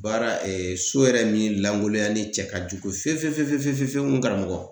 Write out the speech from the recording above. Baara so yɛrɛ min lankolonya ni cɛ ka jugu fefe fefe fefefefew n karamɔgɔ.